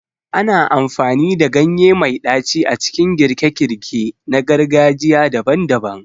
Ana amfani da ganye mai ɗaci a cikin girke-girke na gargajiya daban-daban.